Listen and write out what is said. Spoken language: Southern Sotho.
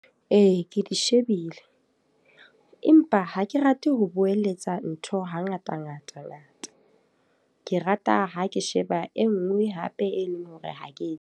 Ee, ke di shebile. Empa ha ke rate ho boeletsa ntho ha ngata ngata ngata. Ke rata ha ke sheba e nngwe hape e leng hore ha ke.